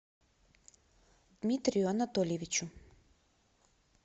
дмитрию анатольевичу